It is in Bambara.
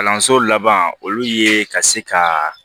Kalanso laban olu ye ka se ka